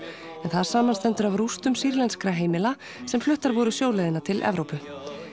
en það samanstendur af rústum sýrlenskra heimila sem fluttar voru sjóleiðina til Evrópu